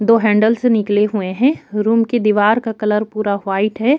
दो हैंडल से निकले हुए हैं रूम की दिवार का कलर पूरा वाइट है।